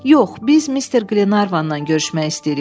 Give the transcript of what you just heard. Yox, biz Mister Qlenarvanla görüşmək istəyirik.